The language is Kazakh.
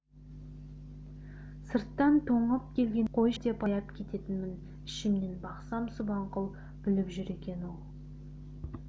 сырттан тоңып келгенін көріп қойшы енді деп аяп кететінмін ішімнен бақсам субанқұл біліп жүр екен ол